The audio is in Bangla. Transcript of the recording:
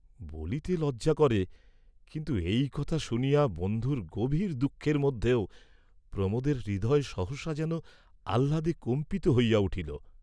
বলিতে লজ্জা করে, কিন্তু এই কথা শুনিয়া বন্ধুর গভীর দুঃখের মধ্যেও প্রমোদের হৃদয় সহসা যেন আহ্লাদে কম্পিত হইয়া উঠিল।